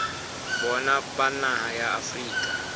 bona ba naha ya afrika